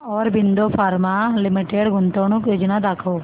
Aurobindo Pharma Limited गुंतवणूक योजना दाखव